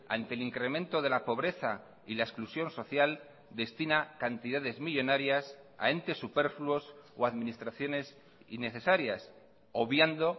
ante el incremento de la pobreza y la exclusión social destina cantidades millónarias a entes superfluos o administraciones innecesarias obviando